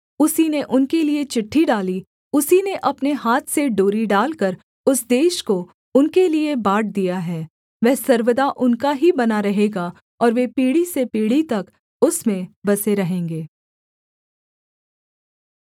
उसी ने उनके लिये चिट्ठी डाली उसी ने अपने हाथ से डोरी डालकर उस देश को उनके लिये बाँट दिया है वह सर्वदा उनका ही बना रहेगा और वे पीढ़ी से पीढ़ी तक उसमें बसे रहेंगे